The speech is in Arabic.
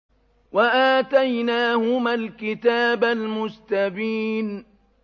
وَآتَيْنَاهُمَا الْكِتَابَ الْمُسْتَبِينَ